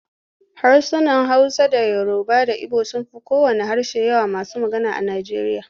Harsunan Hausa da Yoruba da Ibo sun fi kowanne harshe yawan masu magana a Nijeriya.